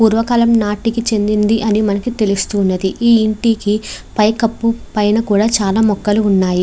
పూర్వకాలం నాటికి చెందింది అని మనకు తెలుస్తుంది. ఈ ఇంటికి పైన కప్పు మీద కూడా చాలా మొక్కల ఉన్నాయి.